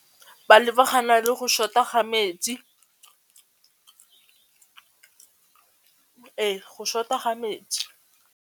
Ba lebagana le go short-a ga metsi, ee go short-a ga metsi.